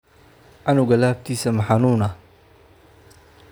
Canuga laabtiisa ma xanuunaa?